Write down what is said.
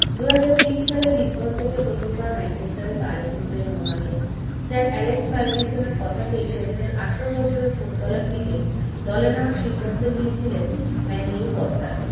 দুহাজার তিন সালে লিসবন থেকে প্রথমবার ম্যানচেস্টারে পা রেখে ছিলেন রোনাল্ডো sir এলেক্স পারকিসনের কথাতেই সেদিনের আঠেরো বছরের footballer - টিকে দলে নেওয়ার সিদ্ধান্ত নিয়েছিলেন ম্যানিউ কর্তারা